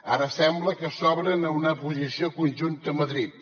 ara sembla que s’obren a una posició conjunta a madrid